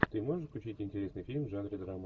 ты можешь включить интересный фильм в жанре драма